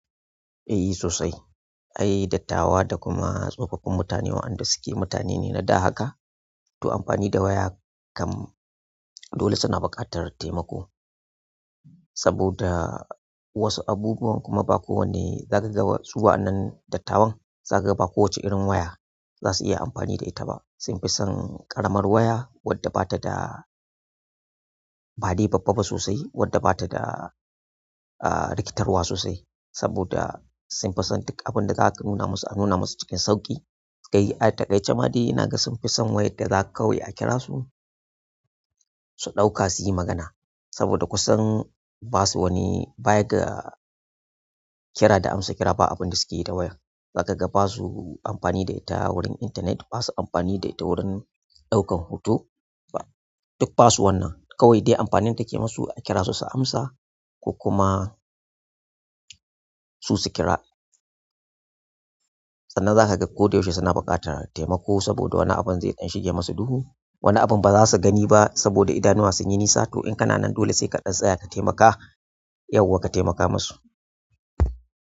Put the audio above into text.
Eh sosai, ayi dattawa da kuma tsofaffin mutane waɗanda suke mutane ne na da haka, to amfani da waya kam dole suna buƙatar taimako. Saboda wasu abubuwan kuma ba kowanne zaka ga su wa'annan dattawan, zaka ga ba kowacce irin waya za su iya amfani da ita ba. Sun fi son ƙaramar waya wadda bata da badai babba ba sosai, wadda bata da, ah, rikitarwa sosai. Saboda sun fi son duk abinda zaka nuna musu, a nuna musu cikin sauƙi. Kai, ah, takaice ma dai naga sun fi son wayar da zaka kawai a kira su, su ɗauka su yi magana. Saboda kusan ba su wani baya ga kira da amsa kira ba abin da suke yi da waya. Zaka ga ba su amfani da ita wurin intanet, ba su amfani da ita wurin ɗaukan hoto, duk ba su wannan. Kawai dai amfanin da ke musu a kira su su amsa ko kuma su su kira. Sannan zaka ga koda yaushe suna buƙatar taimako saboda wani abin zai ɗan shige musu duhu, wani abin ba za su gani ba saboda idanuwa sun yi nisa. To in kana nan dole sai kaɗan tsaya ka taimaka, yauwa ka taimaka masu.